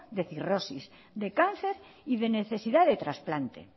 de cirrosis de cáncer y de necesidad de trasplante